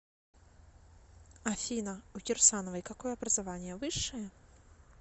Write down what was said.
афина у кирсановой какое образование высшее